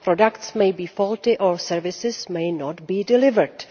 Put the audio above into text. Products may be faulty or services may not be delivered.